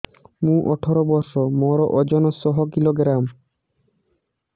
ମୁଁ ଅଠର ବର୍ଷ ମୋର ଓଜନ ଶହ କିଲୋଗ୍ରାମସ